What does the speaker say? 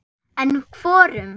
En hvorum?